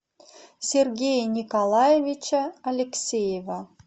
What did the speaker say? сергея николаевича алексеева